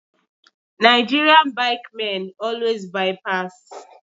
Nigerian bike men always by pass